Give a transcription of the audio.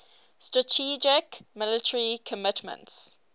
strategic military commitments